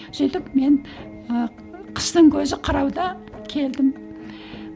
сөйтіп мен ы қыстың көзі қырауда келдім